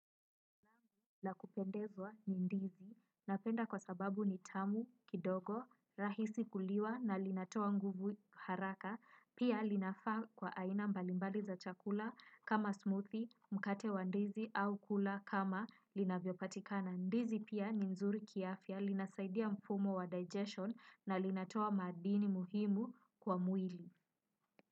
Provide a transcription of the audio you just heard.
La kupendezwa ni ndizi, napenda kwa sababu ni tamu, kidogo, rahisi kuliwa na linatoa nguvu haraka, pia linafaa kwa aina mbalimbali za chakula kama smoothie, mkate wa ndizi au kula kama linavyopatikana ndizi pia ni nzuri kiafya, linasaidia mfumo wa digestion na linatoa madini muhimu kwa mwili.